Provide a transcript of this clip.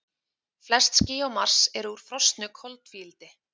Flest ský á Mars eru úr frosnu koltvíildi.